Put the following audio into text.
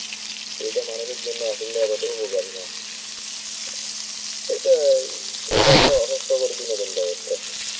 এটা মানুষের জন্য আসলে এতটা উপকারী না. এটা এই~ এটা একটা অস্বাস্থ্যকর বিনোদন ব্যবস্থা.